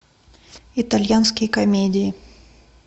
итальянские комедии